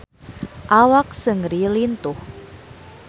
Awak Seungri lintuh